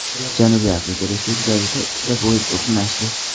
Janubiy Afrika Respublikasida ikkita poyezd to‘qnashdi.